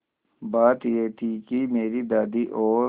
बात यह थी कि मेरी दादी और